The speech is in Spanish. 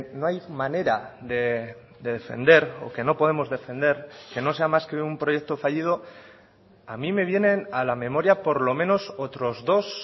no hay manera de defender o que no podemos defender que no sea más que un proyecto fallido a mí me vienen a la memoria por lo menos otros dos